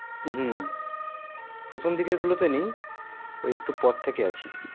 হু প্রথম দিকের গুলোতে নেই ওই একটু পার থেকে আছি